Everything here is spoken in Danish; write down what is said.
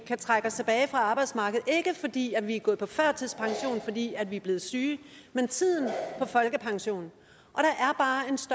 kan trække os tilbage fra arbejdsmarkedet ikke fordi vi er gået på førtidspension fordi vi er blevet syge men tiden for folkepension